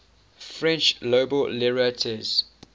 french nobel laureates